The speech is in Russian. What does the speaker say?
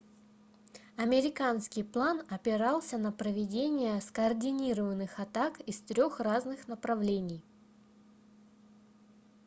американский план опирался на проведение скоординированных атак из трёх разных направлений